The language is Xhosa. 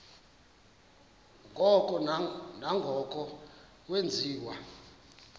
ngoko nangoko wenziwa